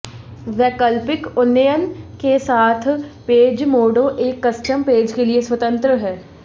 वैकल्पिक उन्नयन के साथ पेजमोडो एक कस्टम पेज के लिए स्वतंत्र है